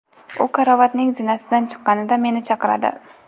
U karavotning zinasidan chiqqanida meni chaqiradi.